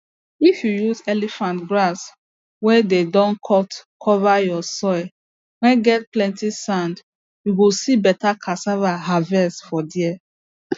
if you use elephant grass whey dey don cut cover your soil whey get plenty sand you go see better cassava harvest for there